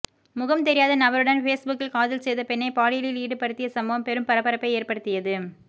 முகம் தெரியாத நபருடன் பேஸ்புக்கில் காதல் செய்த பெண்ணை பாலியலில் ஈடுபடுத்திய சம்பவம் பெறும் பரபரப்பை ஏற்படுத்தியது